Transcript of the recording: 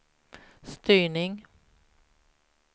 styrning